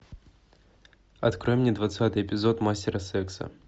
открой мне двадцатый эпизод мастера секса